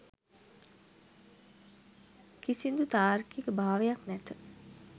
කිසිදු තාර්කික භාවයක් නැත